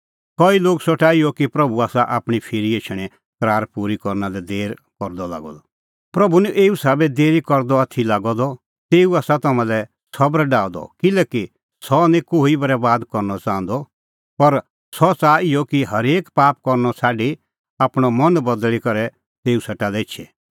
कई लोग सोठा इहअ कि प्रभू आसा आपणीं फिरी एछणें करारा पूरी करना लै देर करदअ लागअ द पर प्रभू निं एऊ साबै देरी करदअ आथी लागअ द तेऊ आसा तम्हां लै सबर डाहअ द किल्हैकि सह निं कोही बरैबाद करनअ च़ाहंदअ पर सह च़ाहा इहअ कि हरेक पाप करनअ छ़ाडी आपणअ मन बदल़ी करै तेऊ सेटा एछे